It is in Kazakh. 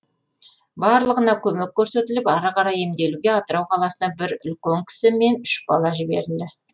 барлығына көмек көрсетіліп ары қарай емделуге атырау қаласына бір үлкен кісі мен үш бала жіберілді